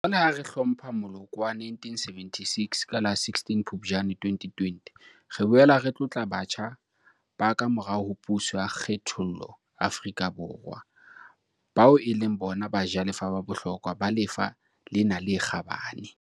Jwale, ha re hlompha moloko wa 1976 ka la 16 Phuptjane 2020, re boela re tlotla batjha ba kamorao ho puso ya kgethollo Afrika Borwa, bao e leng bona bajalefa ba bohlokwa ba lefa lena le kgabane.